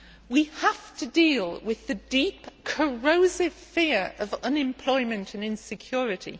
We have to deal with the deep, corrosive fear of unemployment and insecurity.